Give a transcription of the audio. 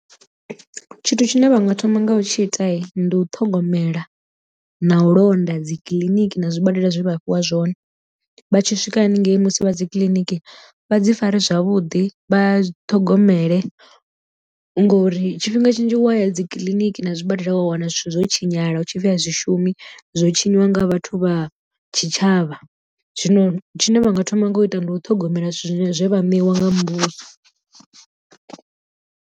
Tshithu tshine vhanga thoma nga u tshi ita ndi u ṱhogomela na u londa dzi kiḽiniki na zwibadela zwe vha fhiwa zwone vha tshi swika haningei musi vha dzi kiliniki vha dzi fare zwavhuḓi vha ṱhogomele, ngori tshifhinga tshinzhi wa ya dzi kiḽiniki na zwibadela wa wana zwithu zwo tshinyala hu tshipfi a zwi shumi zwo tshinyiwa nga vhathu vha tshitshavha zwino tshine vha nga thoma nga u ita ndi u ṱhogomela zwithu zwe vha ṋewa nga muvhuso.